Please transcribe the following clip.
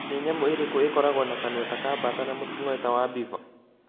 Nĩ nyamũ ĩrĩkũ ĩkoragwo na kanua ta ka bata na mũting'oe ta wa beaver